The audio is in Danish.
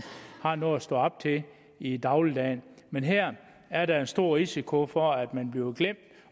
har noget at stå op til i dagligdagen men her er der en stor risiko for at man bliver glemt